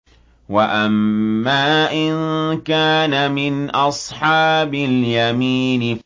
وَأَمَّا إِن كَانَ مِنْ أَصْحَابِ الْيَمِينِ